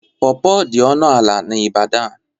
Pọrpọr dị ọnụ ala n'Ibadan.